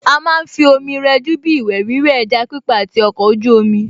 À má ń fi omi rẹjú bíi ìwẹ̀ wíwẹ̀, ẹja pípa àti ọkọ̀ ojú omi